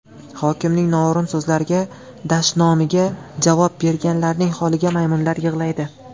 Hokimning noo‘rin so‘zlariga, dashnomiga javob berganlarning holiga maymunlar yig‘laydi.